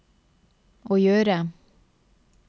å gjøre